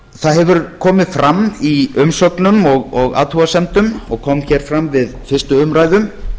það hefur komið fram í umsögnum og athugasemdum og kom hér fram við fyrstu umræðu